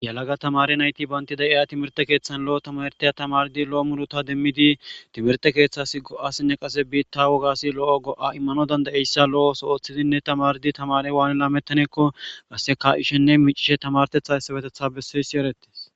yalaga tamari nayti bayntida iya timirte keeththan lo7o tamartaya tamardi lo7o muruta demmidi timirte keeththasi go7asinne qase biitta wogasi lo7o go7a immano danda7eyssa lo7oso ooththidinne tamardi tamare waani laamettaneekkoqasse ka7ishenne micishe tamartetha ssabetetha bessoysi erettes